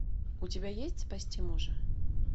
у тебя есть спасти мужа